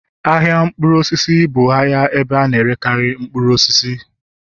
ahịa mkpụrụ osisi bụ ahịa ebe a na-erekarị mkpụrụ osisi